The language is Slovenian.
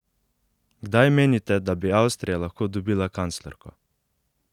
Kdaj menite, da bi Avstrija lahko dobila kanclerko?